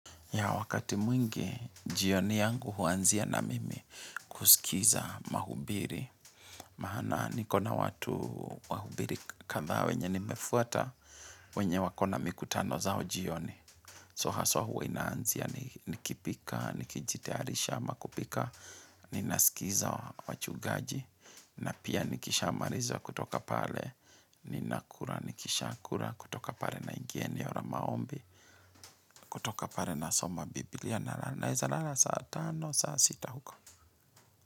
Ya wakati mwingi, jioni yangu huanzia na mimi kusikiza mahubiri. Maana nikona watu wahubiri kadha wenye nimefuata, wenye wakona mikutano zao jioni. So haswa huwa inaanzia nikipika, nikijitayarisha ama kupika, ninaskiza wachugaji. Na pia nikisha maliza kutoka pale, ninakura, nikisha kura, kutoka pale naingia eneo la maombi, Kutoka pare na soma Biblia na naeza lala saa tano, saa sita huko.